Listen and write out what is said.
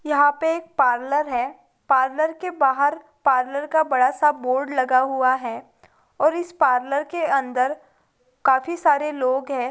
यहां पर एक पार्लर है पार्लर के बाहर एक बड़ा सा बोर्ड लगा हुआ है और इस पार्लर के अंदर काफी सारे लोग हैं |